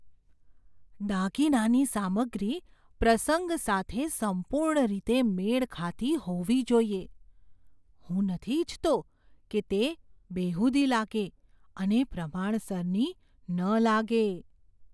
દાગીનાની સામગ્રી પ્રસંગ સાથે સંપૂર્ણ રીતે મેળ ખાતી હોવી જોઈએ. હું નથી ઈચ્છતો કે તે બેહુદી લાગે અને પ્રમાણસરની ન લાગે.